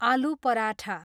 आलु पराठा